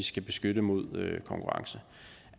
skal beskytte mod konkurrence